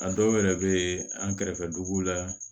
A dɔw yɛrɛ bɛ yen an kɛrɛfɛ dugu la